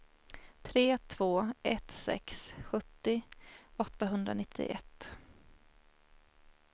tre två ett sex sjuttio åttahundranittioett